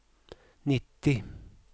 nittio